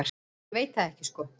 Ég veit það ekki sko.